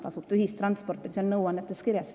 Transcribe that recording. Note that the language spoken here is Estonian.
Tasuta ühistransport oli seal nõuannetes kirjas.